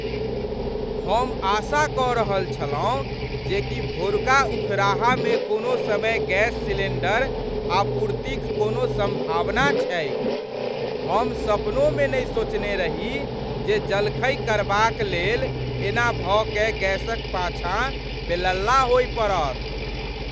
हम आशा कऽ रहल छलहुँ जे कि भोरुका उखराहामे कोनो समय गैस सिलिण्डर आपूर्तिक कोनो सम्भावना छैक। हम सपनोमे नहि सोचने रही जे जलखै करबाक लेल एना भऽ कए गैसक पाछाँ बेलल्ला होअ पड़त!